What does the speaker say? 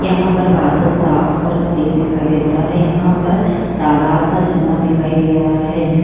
यहाँ पर बादल साफ और सफेद दिखाई देता है यहाँ पर तालाब का झरना दिखाई दे रहा है जिस --